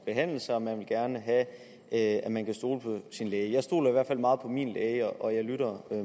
behandle sig og man vil gerne have at man kan stole på sin læge jeg stoler i hvert fald meget på min læge og jeg lytter